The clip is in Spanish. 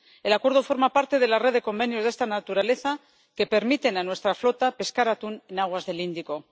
El Acuerdo forma parte de la red de convenios de esta naturaleza que permiten a nuestra flota pescar atún en aguas del Índico.